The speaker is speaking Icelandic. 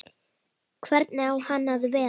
Hvernig á hann að vera?